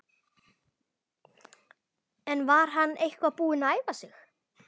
En var hann eitthvað búinn að æfa sig?